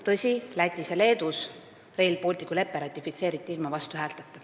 Tõsi, Lätis ja Leedus Rail Balticu lepe ratifitseeriti ilma vastuhäälteta.